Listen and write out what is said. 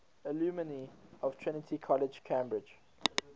alumni of trinity college cambridge